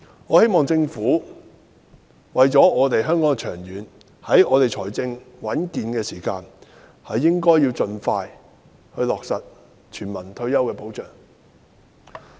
我希望政府應為香港長遠着想，在政府財政穩健的時間盡快落實全民退休保障。